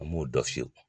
An m'o dɔ fiyɛ